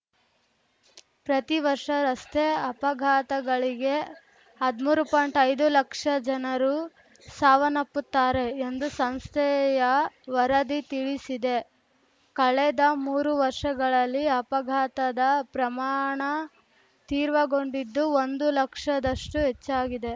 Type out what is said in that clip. ಪ್ರತಿ ವರ್ಷ ರಸ್ತೆ ಅಪಘಾತಗಳಿಗೆ ಹದ್ಮೂರು ಪಾಯಿಂಟ್ಐದು ಲಕ್ಷ ಜನರು ಸಾವನ್ನಪ್ಪುತ್ತಾರೆ ಎಂದು ಸಂಸ್ಥೆಯ ವರದಿ ತಿಳಿಸಿದೆ ಕಳೆದ ಮೂರು ವರ್ಷಗಳಲ್ಲಿ ಅಪಘಾತದ ಪ್ರಮಾಣ ತೀರ್ವಗೊಂಡಿದ್ದು ಒಂದು ಲಕ್ಷದಷ್ಟು ಹೆಚ್ಚಾಗಿದೆ